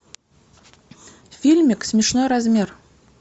фильмик смешной размер